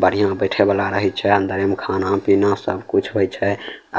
बढ़िया बैठे वाला रहे छै अंदरे में खाना-पीना सब कुछ होय छै